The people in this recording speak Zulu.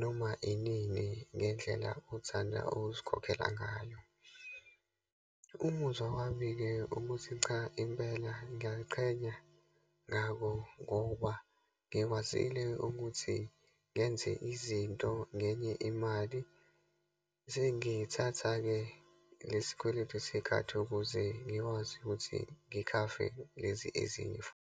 noma inini ngendlela othanda ukusikhokhela ngayo. Umuzwa wami-ke, ukuthi cha impela ngiyayiqhenya ngako, ngoba ngikwazile ukuthi ngenze izinto ngenye imali. Sengithatha-ke lesi kweletu sekhadi, ukuze ngikwazi ukuthi ngikhave lezi ezinye futhi.